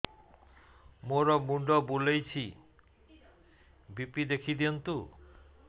ମୋର ମୁଣ୍ଡ ବୁଲେଛି ବି.ପି ଦେଖି ଦିଅନ୍ତୁ